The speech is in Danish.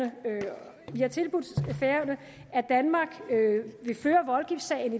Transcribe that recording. at vi jo har tilbudt færøerne at danmark